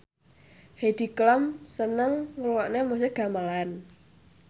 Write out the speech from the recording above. Heidi Klum seneng ngrungokne musik gamelan